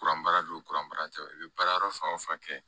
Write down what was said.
Kuran baara don baara tɛ i bɛ baara yɔrɔ fan o fan kɛ